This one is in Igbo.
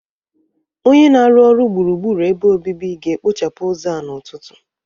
Onye na-arụ ọrụ gburugburu ebe obibi ga-ekpochapụ ụzọ a n'ụtụtụ